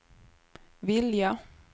vilja